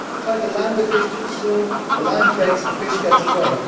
If you try to land the fish too soon, the line breaks and the fish gets away.